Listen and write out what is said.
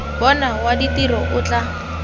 bona wa ditiro o tla